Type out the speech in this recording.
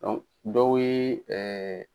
dɔw yee